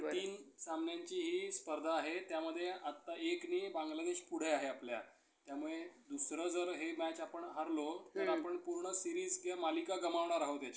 कारण तीन सामन्यांची हि स्पर्धा आहे. त्यामध्ये आता एकनी बांगलादेश पुढे आहे आपल्या. त्यामुळे दुसरा जर हे मॅच आपण हारलो तर मग आपण सिरीज किंवा मालिका गमावणार आहोत